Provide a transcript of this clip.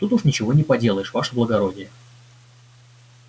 тут уж ничего не поделаешь ваше благородие